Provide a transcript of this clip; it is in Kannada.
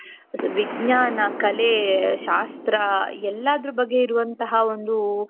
ವಿಜ್ಞಾನ ಕಲೆ ಶಾಸ್ತ್ರ ಎಲ್ಲಾದರೂ ಬಗ್ಗೆ ಇರುವಂತಹ ಒಂದು.